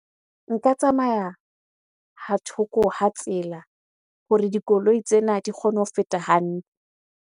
Nka tsamaya ha thoko ha tsela hore dikoloi tsena di kgone ho feta hantle.